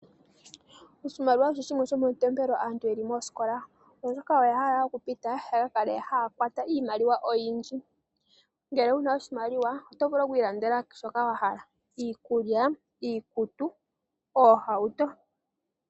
Oshimaliwa osho shimwe shomatompelo aantu yeli moosikola oshoka oya hala okupita yaka ka kale haya kwata iimaliwa oyindji. Ngele wu na oshimaliwa oto vulu okwiilandela shoka wa hala ngaashi iikulya, iikutu noshowo oohauto.